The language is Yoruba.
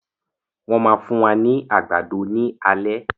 Wọn máa fún wa ní àgbàdo ni alẹ́